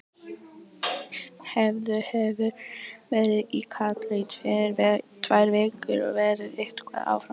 Eiður hefur verið í Katar í tvær vikur og verður eitthvað áfram þar.